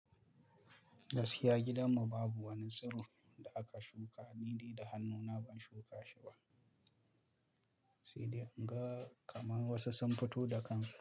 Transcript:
Gaskiya gidanmu babu wani tsiron da aka shuka, ni dai da hannuna ban shuka shi ba, sai dai in ga kamar wasu sun fito da kansu.